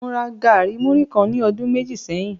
Mo ra gari muri kan ní ọdun méjì sẹ́yìn.